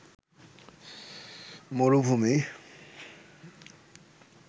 মরুভূমি